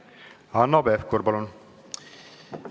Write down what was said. Hanno Pevkur, palun!